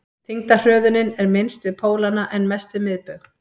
þyngdarhröðunin er minnst við pólana en mest við miðbaug